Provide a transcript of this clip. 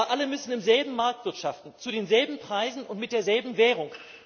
Aber alle müssen im selben Markt wirtschaften, zu denselben Preisen und mit derselben Währung.